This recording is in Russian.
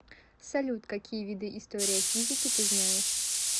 салют какие виды история физики ты знаешь